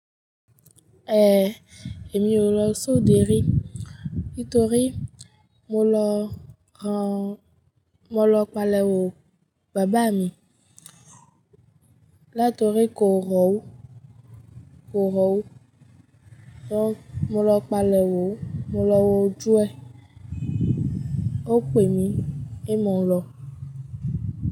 Eh, èmi ò lọ sóderí nítorí mo lọ rán, mo lọ palẹ̀wò bàbá mi. Látọ̀rí kò rọ́wó, kò rọ́wó. Mo lọ palẹ̀wò, mo lọ wo ju ẹ, ó pè mí, è mo lọ.